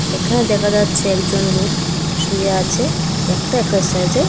এখানে দেখা যাচ্ছে একজন লোক শুয়ে আছে একটা এক্সারসাইজে।